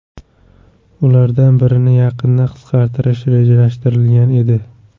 Ulardan birini yaqinda qisqartirish rejalashtirilgan edi.